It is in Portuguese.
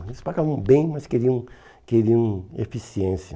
Eles pagavam bem, mas queriam queriam eficiência.